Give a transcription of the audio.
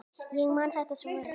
Ég man þetta svo vel.